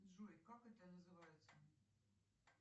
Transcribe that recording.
джой как это называется